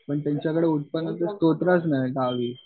पण त्यांच्याकडे उत्पन्न चा स्तोत्राचं नाही गावी